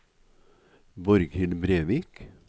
Borghild Brevik